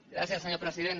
gràcies senyor president